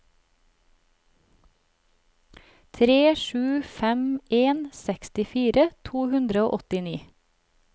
tre sju fem en sekstifire to hundre og åttini